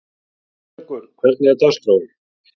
Guðleikur, hvernig er dagskráin?